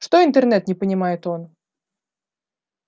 что интернет не понимает он